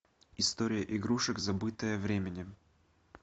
история игрушек забытая временем